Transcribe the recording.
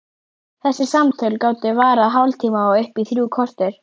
Þessi samtöl gátu varað hálftíma og upp í þrjú korter.